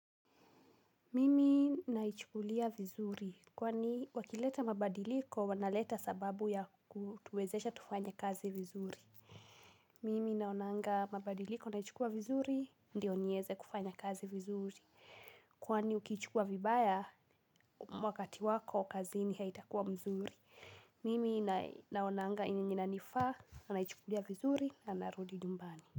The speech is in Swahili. Mimi naichukulia vizuri kwani wakileta mabadiliko wanaleta sababu ya kutuwezesha tufanye kazi vizuri mimi naonanga mabadiliko naichukua vizuri ndio niweze kufanya kazi vizuri. Kwani ukiichukua vibaya wakati wako kazini haitakuwa mzuri. Mimi naonanga yenye inanifaa naichukulia vizuri na narudi nyumbani.